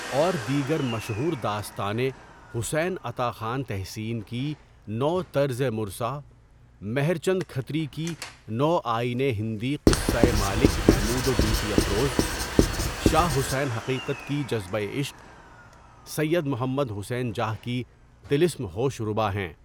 اور دیگر مشہور داستانیں حسین عطا خان تحسین کی نوطرز مرصع، مہر چند کھتری کی نو آئینِ ہندی قصۂ مالک محمود و گیتی افروز ، شاہ حسین حقیقت کی جذبۂ عشق، سید محمد حسین جاہ کی طلسم ہوش ربا ہیں۔